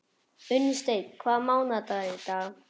Unnsteinn, hvaða mánaðardagur er í dag?